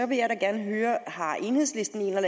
vil jeg da gerne høre har enhedslisten en